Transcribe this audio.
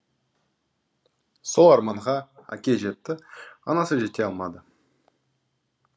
сол арманға әке жетті анасы жете алмады